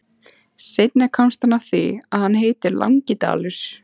Seinna komst hann að því að hann heitir Langidalur.